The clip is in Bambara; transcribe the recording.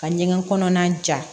Ka ɲɛgɛn kɔnɔna ja